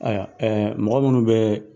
Ayiwa mɔgɔ minnu be